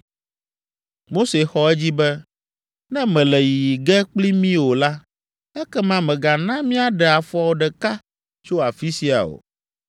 Mose xɔ edzi be, “Ne mèle yiyi ge kpli mí o la, ekema mègana míaɖe afɔ ɖeka tso afi sia o.